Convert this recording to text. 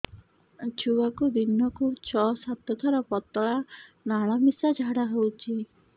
ଛୁଆକୁ ଦିନକୁ ଛଅ ସାତ ଥର ପତଳା ନାଳ ମିଶା ଝାଡ଼ା ହଉଚି